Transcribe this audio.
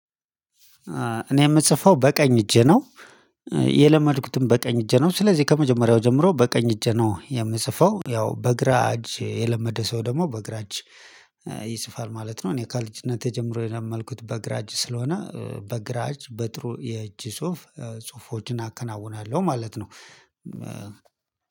እኔ ምጽፈው በቀኝ እጄ ነው። የለመድኩትም በቀኝ እጄ ነው ስለዚህ ከመጀመሪያው ጀምሮ በቀኝ እጄ ነው የምጽፈው ያው በግራ እጅ የለመደ ሰው ደግሞ በግራ እጅ ይጽፋል ማለት ነው። እኔ ከልጅነቴ ጀምሮ የለመድኩት በግራ እጅ ስለሆነ በግራ እጅ በጥሩ የእጅ ጽሁፍ ጽሁፎችን አከናውናለሁ ማለት ነው።